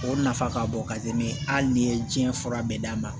O nafa ka bon ka di ne ma hali n'i ye diɲɛ fura bɛɛ d'a ma